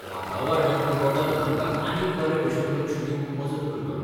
वातावरणांतलो बदल आमकां आनीक बरे भशेन लक्ष दिवंक मजत करतलो.